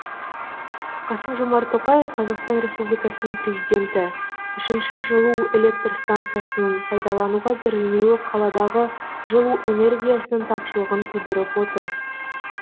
қасым жомарт тоқаев қазақстан республикасының президенті үшінші жылу электр стансасының пайдалануға берілмеуі қаладағы жылу энергиясының тапшылығын тудырып отыр